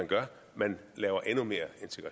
man